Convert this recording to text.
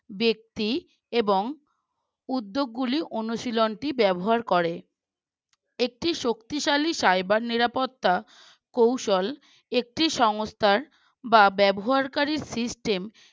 ব্যক্তি এবং উদ্যোগ গুলি অনুশীলন টি ব্যবহার করে একটি শক্তিশালী cyber নিরাপত্তা কৌশল একটি সংস্থার বা ব্যবহারকারীর System